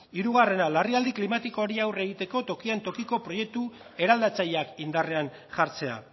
hirugarrena larrialdi klimatikoari aurre egiteko tokian tokiko proiektu eraldatzaileak indarrean jartzea